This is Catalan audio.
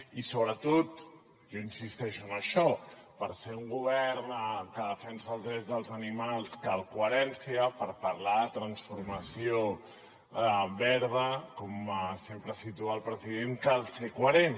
i sobretot jo insisteixo en això per ser un govern que defensa dels drets dels animals cal coherència per parlar de transformació verda com sempre situa el president cal ser coherent